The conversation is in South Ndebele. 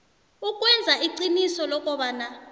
ukwenza iqiniso lokobana